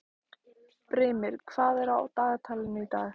Brimir, hvað er á dagatalinu í dag?